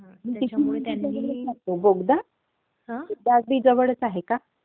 तिथून...बोगदा अगदी जवळचा आहे का?